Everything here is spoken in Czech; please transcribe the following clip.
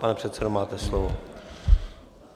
Pane předsedo, máte slovo.